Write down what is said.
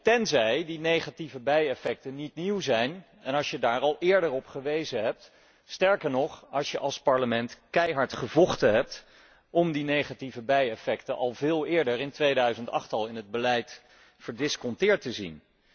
Tenzij die negatieve bijeffecten niet nieuw zijn en je daar al eerder op gewezen hebt, sterker nog, als je als Parlement keihard gevochten hebt om die negatieve bijeffecten al veel eerder in 2008 in het beleid verdisconteerd te zien.